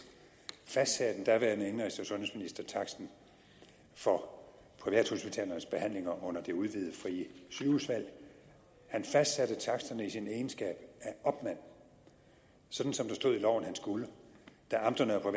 fastsatte den daværende indenrigs og sundhedsminister taksten for privathospitalernes behandlinger under det udvidede frie sygehusvalg hans fastsatte taksterne i sin egenskab af opmand sådan som der stod i loven at han skulle da amterne og